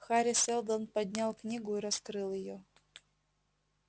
хари сэлдон поднял книгу и раскрыл её